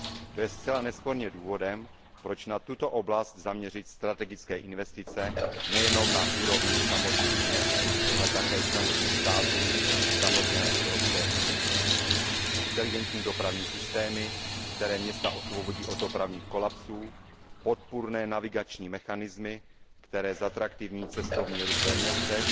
To je zcela nesporně důvodem, proč na tuto oblast zaměřit strategické investice nejenom na úrovni samotných měst, ale také členských států i samotné Evropské unie. Inteligentní dopravní systémy, které města osvobodí od dopravních kolapsů, podpůrné navigační mechanismy, které zatraktivní cestovní ruch ve městech,